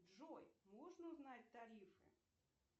джой можно узнать тарифы